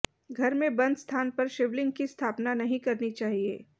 घर में बंद स्थान पर शिवलिंग की स्थापना नहीं करनी चाहिए